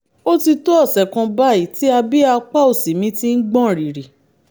ó ti tó ọ̀sẹ̀ kan báyìí tí abíyá apá òsì mi ti ń gbọ̀n rìrì